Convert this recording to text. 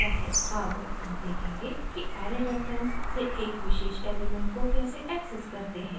अब हम देखेंगे कि ऐरे रेफरेंस से एक विशेष एलिमेंट को कैसे एक्सेस करते हैं